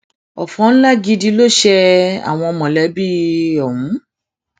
ọfọ ńlá gidi ló ṣe àwọn mọlẹbí ọhún